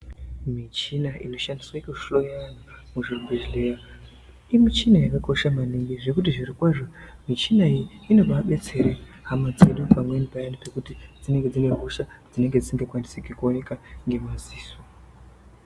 Michina inoshandiswe kuhloya muzvibhedhleya, imichina yakakosha maningi, zvekuti zvirokwazvo michina iyi inobaadetser hama dzedu pamweni payani pekuti dzinenge dzine hosha dzisingakwanisiki kuoneka ngemadziso.